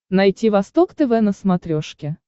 найти восток тв на смотрешке